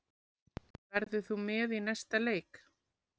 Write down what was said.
Verður þú með í næsta leik?